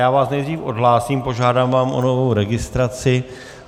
Já vás nejdřív odhlásím, požádám vás o novou registraci.